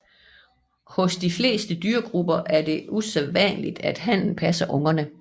Hos de fleste dyregrupper er det usædvanligt at hannen passer ungerne